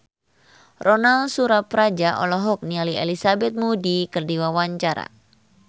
Ronal Surapradja olohok ningali Elizabeth Moody keur diwawancara